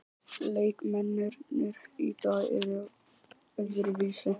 Leikmennirnir í dag eru öðruvísi.